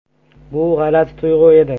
Bu g‘alati tuyg‘u edi.